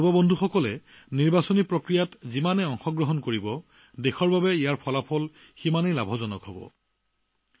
আমাৰ যুৱকযুৱতীসকলে যিমানেই নিৰ্বাচনী প্ৰক্ৰিয়াত অংশগ্ৰহণ কৰিব সিমানেই ইয়াৰ ফলাফল দেশৰ বাবে অধিক লাভজনক হব